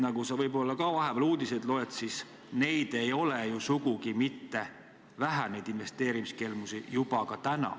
Nagu sa võib-olla ka oled uudistest lugenud, neid ei ole ju sugugi mitte vähe juba praegu.